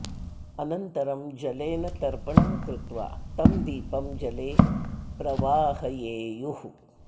अनन्तरं जलेन तर्पणं कृत्वा तं दीपं जले प्रवाहयेयुः